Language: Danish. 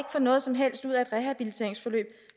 få noget som helst ud af et rehabiliteringsforløb